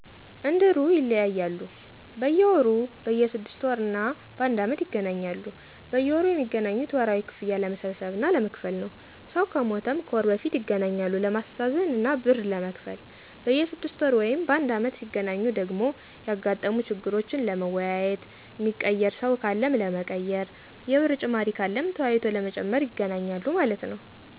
እንድሩ ይለያያሉ፦ በየወሩ፣ በየ 6 ወር እና ባንድ አመት ይገናኛሉ። በየወሩ ሚገናኙት ወርሃዊ ክፍያ ለመሠብሰብ እና ለመክፈል ነው። ሰው ከሞተም ከወር በፊት ይገናኛሉ ለማሥተዛዘን እና ብር ለመክፈል። በየ 6ወር ወይም ባንድ አመት ሢገናኙ ደግሞ ያጋጠሙ ችግሮችን ለመወያየት፣ ሚቀየር ሰው ካለም ለመቀየር፣ የብር ጭማሪ ካለም ተወያይቶ ለመጨመር ይገናኛሉ ማለት ነው